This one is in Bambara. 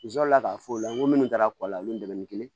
N sɔrɔ la k'a fɔ o la n ko minnu kɛra kɔlɔn la olu ye dɛmɛ ni kelen ye